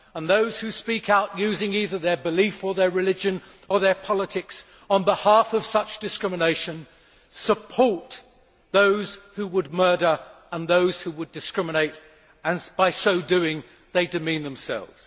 Those who speak out using either their belief or their religion or their politics on behalf of such discrimination support those who would murder and those who would discriminate and by so doing they demean themselves.